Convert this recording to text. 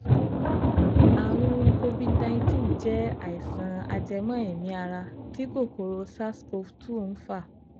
àrùn COVID nineteen jẹ́ àìsàn ajẹ́mọ́ èémí ara tí kòkòro SARS-CoV-two ń fà